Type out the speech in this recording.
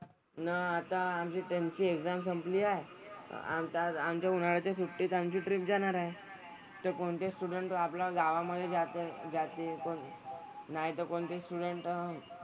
न आता आमची त्यांची exam संपली आहे. आमचा आज आमच्या उन्हाळ्याच्या सुट्टीत आमची trip जाणार आहे. तर कोणते student जो आपला गावामधे जाते जाते कोण नाही तर कोणते student,